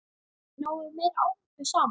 Náum við meiri árangri saman?